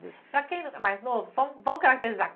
Para quem é mais novo, vamos vamos caracterizar.